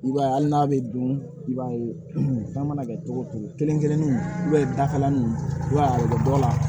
I b'a ye hali n'a bɛ don i b'a ye fɛn mana kɛ cogo o cogo kelen-kelenninw dakalan nunnu i b'a ye a bɛ dɔ la